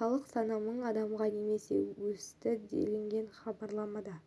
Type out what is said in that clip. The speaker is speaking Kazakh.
халық саны мың адамға немесе өсті делінген хабарламада